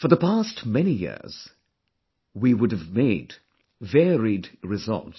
For the past many years, we would have made varied resolves